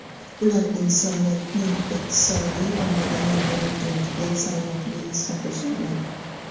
ular insoniyatning iqtisodiy va madaniy taraqqiyotiga salmoqli hissa qo‘sha oladi.